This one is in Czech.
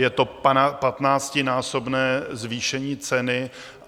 Je to patnáctinásobné zvýšení ceny.